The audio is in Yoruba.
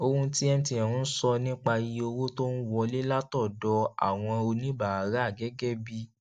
ohun tí mtn ń sọ nípa iye owó tó ń wọlé látọdọ àwọn oníbàárà gégé bí